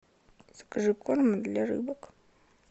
закажи корм для рыбок